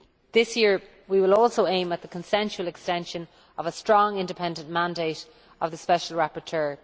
This year we will also aim at the consensual extension of a strong, independent mandate for the Special Rapporteur.